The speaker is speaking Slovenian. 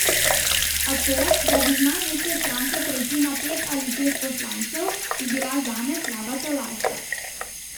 A to, da bi z največje stranke prešli na pet ali šest poslancev, bi bila zame slaba tolažba.